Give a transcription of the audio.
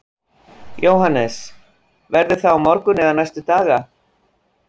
Jóhannes: Verður það á morgun eða næstu daga?